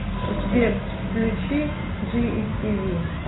сбер включи джи ис ти ви